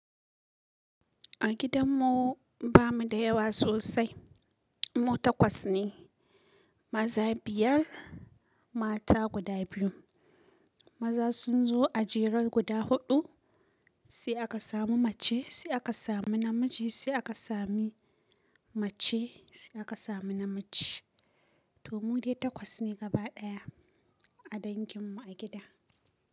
A gidanmu bamu da yawa sosai. Mu takwas ne. Maza biyar, mata guda biyu. Maza sun zo a jere guda huɗu. Sai aka samu mace, sai aka samu namiji, sai aka sami mace, sai aka sami namiji. To mu dai takwas ne gaba ɗaya a danginmu a gida.